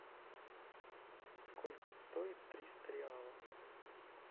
сколько стоит триста реалов